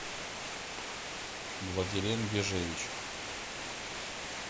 владилен вяжевич